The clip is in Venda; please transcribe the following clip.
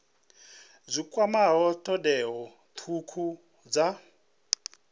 dzi kwamaho thodea thukhu dza